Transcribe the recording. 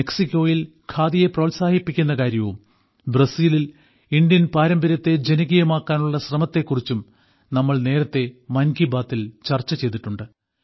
മെക്സിക്കോയിൽ ഖാദിയെ പ്രോത്സാഹിപ്പിക്കുന്ന കാര്യവും ബ്രസീലിൽ ഇന്ത്യൻ പാരമ്പര്യത്തെ ജനകീയമാക്കാനുള്ള ശ്രമത്തെക്കുറിച്ചും നമ്മൾ നേരത്തേ മൻ കി ബാത്തിൽ ചർച്ച ചെയ്തിട്ടുണ്ട്